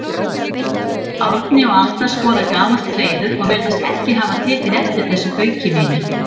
Árni og Alda skoða gamalt hreiður og virðast ekki hafa tekið eftir þessu bauki mínu.